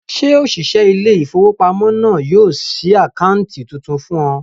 Ṣé òṣìṣẹ́ ilé-ìfowópamọ́sí náà yóò ṣí àkáǹtì tuntun fún ọ?